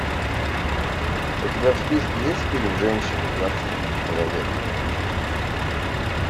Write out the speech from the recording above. у тебя в списке есть фильм женщины двадцатого века